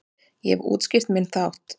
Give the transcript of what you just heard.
Ég hef útskýrt minn þátt.